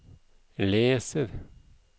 leser